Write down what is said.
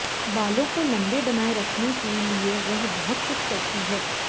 बालो को लम्बे बनाये रखने के लिए वह बहुत कुछ करती है